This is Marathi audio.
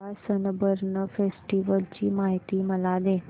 गोवा सनबर्न फेस्टिवल ची माहिती मला दे